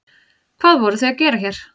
Hvað voruð þið að gera hér?